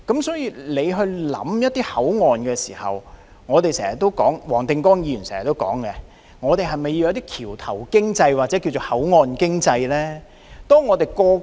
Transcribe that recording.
所以，當局考慮一個口岸的發展之時，正如黃定光議員經常說，還需要發展橋頭經濟或所謂口岸經濟。